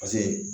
Paseke